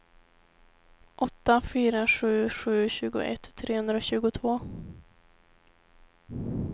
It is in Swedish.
åtta fyra sju sju tjugoett trehundratjugotvå